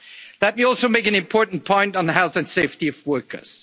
draft resolution. Let me also make an important point on the health and